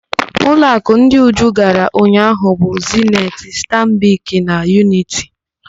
Ụlọakụ ndị Uju gara ụnyaahụ bụ: Zeniti, Stanbik na Yuniti.